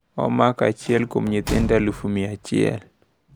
Omako achiel kuom nyithindo 100,000.